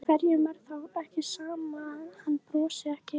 Hverjum er þá ekki sama að hann brosi ekki?